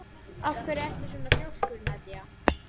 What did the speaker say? Af hverju ertu svona þrjóskur, Nadia?